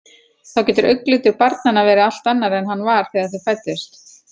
Þá getur augnlitur barnanna verið allt annar en hann var þegar þau fæddust.